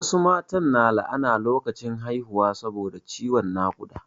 Wasu mata su na la'ana lokacin haihuwa saboda ciwon naƙuda